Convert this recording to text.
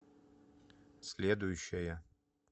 следующая